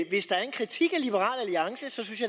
at hvis der er en kritik